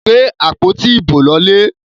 Gbé àpótí ibo lọlé!